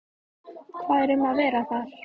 Hvað er um að vera þar?